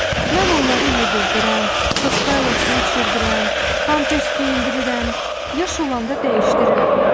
Mən onları yedirdirəm, soskayla su içirdirəm, pampers geyindirirəm, yaş olanda dəyişdirirəm.